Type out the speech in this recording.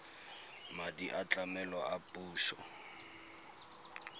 madi a tlamelo a puso